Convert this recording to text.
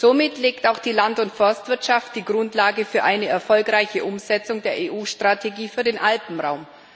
Somit legt auch die Land und Forstwirtschaft die Grundlage für eine erfolgreiche Umsetzung der EU-Strategie für den Alpenraum.